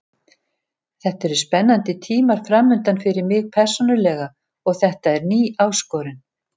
Þetta eru spennandi tímar framundan fyrir mig persónulega og þetta er ný áskorun.